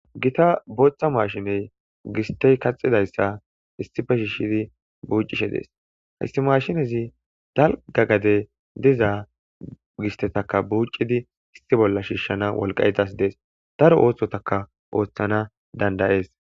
Gita booththa mashiney gistey kaxidayssa issife shiishidi buuccishe dees haysti mashinezi dalga gade dizaa gistetaka buucidi isti bolla shiishshana wolqaetas dees daro oothtotaka ooththana dandayees.